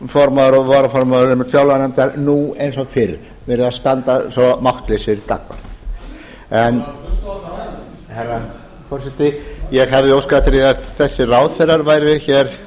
formaður og varaformaður einmitt fjárlaganefndar nú eins og fyrr verið að standa svo máttlausir gagnvart herra forseti ég hefði óskað eftir því að þessir ráðherrar væru hér